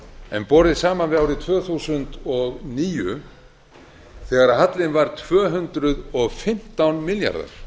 en borið saman við árið tvö þúsund og níu þegar hallinn var tvö hundruð og fimmtán milljarðar